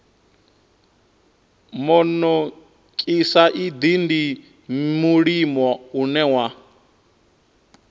monokosaidi ndi mulimo une wa